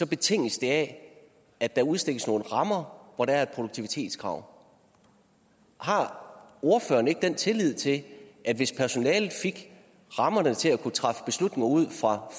betinges det af at der udstikkes nogle rammer hvor der er et produktivitetskrav har ordføreren ikke den tillid til at hvis personalet fik rammerne til at kunne træffe beslutninger ud fra